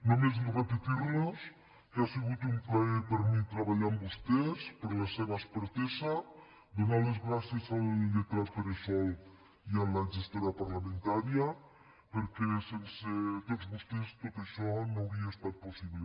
només repetir los que ha sigut un plaer per mi treballar amb vostès per la seva expertesa donar les gràcies al lletrat pere sol i a la gestora parlamentària perquè sense tots vostès tot això no hauria estat possible